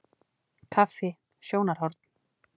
Kaffi- sjónarhorn.